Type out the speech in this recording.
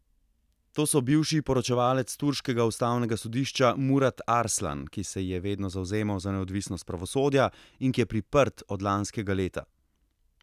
To so bivši poročevalec turškega ustavnega sodišča Murat Arslan, ki se je vedno zavzemal za neodvisnost pravosodja in ki je priprt od lanskega leta.